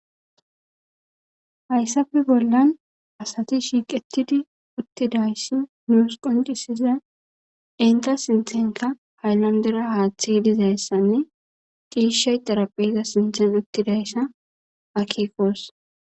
Hayssafe bollan asati shiiqetidi uttidayssi nuus qoncisiza inta sinthenka hayllandera haaththi dizayssanne qiishshay darapheza sinthen uttidayssa akikos.